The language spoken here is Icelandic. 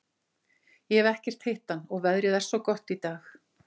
Ég hef ekkert hitt hann og veðrið er svo gott í dag.